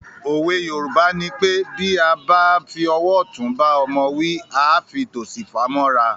Òwe Yorùbá nipé “ Bí a bá fi ọwọ́ ọ̀tún bá ọmọ wí, à á fi tòsì fà mọ́ra ”.